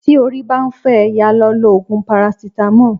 Tí orí ń bá fọ́ ẹ, yá a lọ lo Ògùn parasítámọ̀.